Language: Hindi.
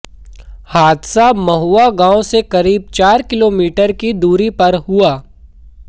हादसा महुआ गांव से करीब चार किलोमीटर की दूरी पर हुआ